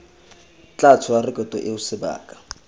tla tshola rekoto eo sebaka